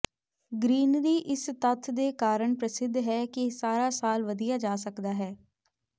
greenery ਇਸ ਤੱਥ ਦੇ ਕਾਰਨ ਪ੍ਰਸਿੱਧ ਹੈ ਕਿ ਇਹ ਸਾਰਾ ਸਾਲ ਵਧਿਆ ਜਾ ਸਕਦਾ ਹੈ